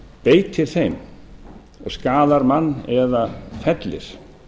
beitir þeim og skaðar mann eða fellir